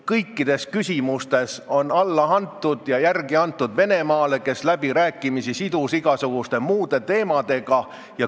Kõikides küsimustes on alla antud ja järele antud Venemaale, kes on läbirääkimised sidunud igasuguste muude teemadega.